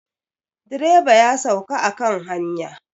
Direba ya sauka a kan hanya.